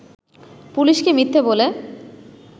পুলিশকে মিথ্যে বলে